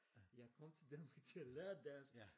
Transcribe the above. Jeg kom til Danmark til at lære dansk